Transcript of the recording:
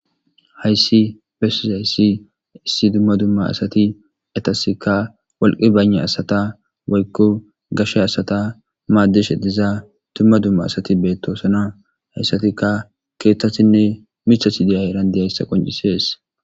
hayssi bessizayssi issi dumma dumma asati etasika walqi bane asata waykko gashshe asata maaddeshe diza dumma dumma asati beettosana hayssatika keeththatinnr miththat de'izayissa qoncisees